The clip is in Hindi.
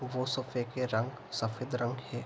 वो सोफे के रंग सफेद रंग है।